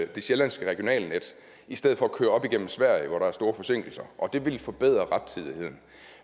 det sjællandske regionalnet i stedet for at køre op igennem sverige hvor der er store forsinkelser og det vil forbedre rettidigheden